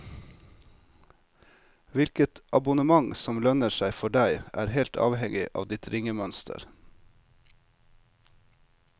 Hvilket abonnement som lønner seg for deg, er helt avhengig av ditt ringemønster.